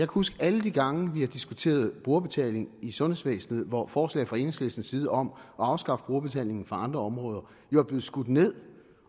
huske alle de gange vi har diskuteret brugerbetaling i sundhedsvæsenet hvor forslag fra enhedslistens side om at afskaffe brugerbetalingen på andre områder jo er blevet skudt ned